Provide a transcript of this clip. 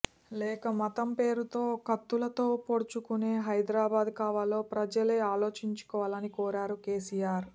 లేక మతం పేరుతో కత్తులతో పొడుచుకునే హైదరాబాద్ కావాలో ప్రజలే ఆలోచించుకోవాలని కోరారు కేసీఆర్